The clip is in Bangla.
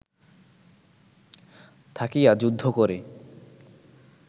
থাকিয়া যুদ্ধ করে